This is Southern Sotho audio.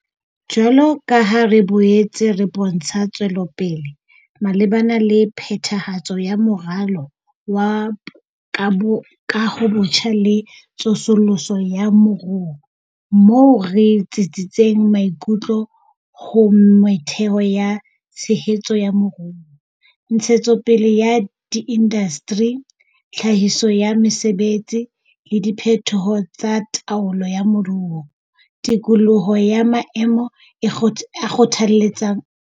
Jwalo ka ha re boetse re bontsha tswelopele malebana le phethahatso ya Moralo wa ka bo Kahobotjha le Tsosoloso ya Moruo - moo re tsitsitseng maikutlo ho metheo ya tshe betso ya moruo, ntshetsopele ya diindasteri, tlhahiso ya mesebetsi, le diphetoho tsa taolo ya moruo - tikoloho ya maemo e a kgothaletsang.